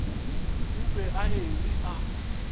o be a eme a